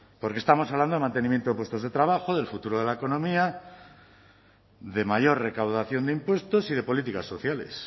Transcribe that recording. porque estamos hablando de mantenimiento de puestos de trabajo del futuro de la economía de mayor recaudación de impuestos y de políticas sociales